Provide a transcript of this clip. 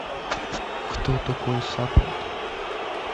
кто такой саппорт